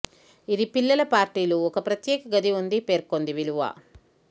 ఇది పిల్లల పార్టీలు ఒక ప్రత్యేక గది ఉంది పేర్కొంది విలువ